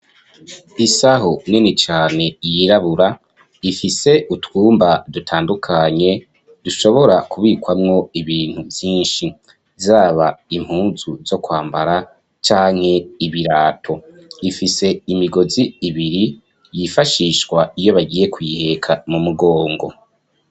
Isaho nini cane, yirabura, ifise utwumba dutandukanye, dushobora kubikwamwo ibintu vyinshi; zaba impuzu zo kwambara, canke ibirato; ifise imigozi ibiri, yifashishwa, iyo bagiye kuyiheka, mu mugongo.